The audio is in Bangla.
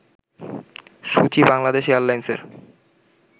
সূচি বাংলাদেশ এয়ারলাইন্সের